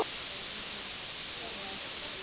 Við verðum að forða okkur.